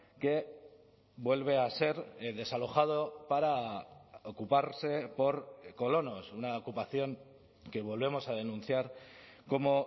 que vuelve a ser desalojado para ocuparse por colonos una ocupación que volvemos a denunciar como